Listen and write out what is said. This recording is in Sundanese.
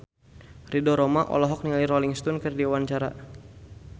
Ridho Roma olohok ningali Rolling Stone keur diwawancara